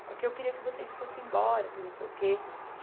Só que eu queria que vocês fossem embora, que não sei o quê.